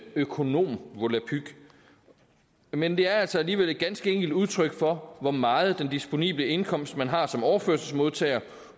økonomvolapyk men det er altså alligevel et ganske enkelt udtryk for hvor meget den disponible indkomst man har som overførselsmodtager